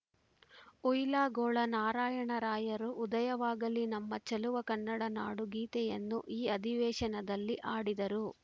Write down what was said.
ಹುಯಿಲಗೋಳ ನಾರಾಯಣರಾಯರು ಉದಯವಾಗಲಿ ನಮ್ಮ ಚೆಲುವ ಕನ್ನಡನಾಡು ಗೀತೆಯನ್ನು ಈ ಅಧಿವೇಶನದಲ್ಲಿ ಹಾಡಿದರು